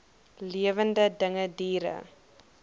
lewende dinge diere